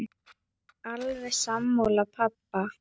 Ég er alveg sammála pabba.